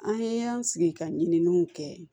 An ye an sigi ka ɲininiw kɛ